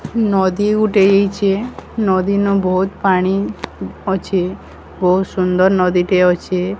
ନଦୀ ଗୋଟେ ହେଇଚେ ନଦୀ ରେ ବହୁତ୍ ପାଣି ଅଛି ବହୁତ୍ ସୁନ୍ଦର୍ ନଦୀଟିଏ ଅଛି।